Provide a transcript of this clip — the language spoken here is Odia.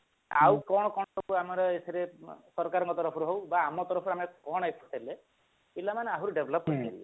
ଆଉ କଣ କଣ ସବୁ ଆମର ଏଥିରେ ସରକାରଙ୍କ ତରଫରୁ ହଉ ବା ଆମ ତରଫରୁ ଆମେ କଣ ଦେଲେ ପିଲାମାନେ ଆହୁରି develop କରି ପାରିବେ